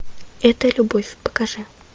это любовь покажи